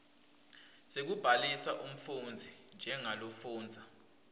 sekubhalisa umfundzi njengalofundza